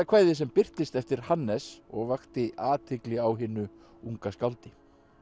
kvæðið sem birtist eftir Hannes og vakti athygli á hinu unga skáldi